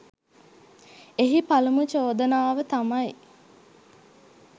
එහි පළමු චෝදනාව තමයි